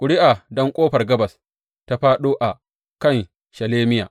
Ƙuri’a don Ƙofar Gabas ta fāɗo a kan Shelemiya.